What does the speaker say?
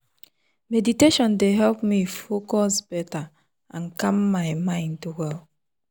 meditation dey help me focus better and calm my mind well.